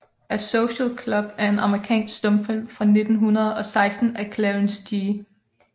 A Social Cub er en amerikansk stumfilm fra 1916 af Clarence G